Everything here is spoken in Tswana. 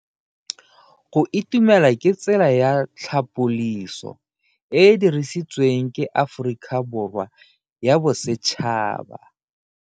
Go itumela ke tsela ya tlhapoliso e e dirisitsweng ke Aforika Borwa ya Bosetšhaba.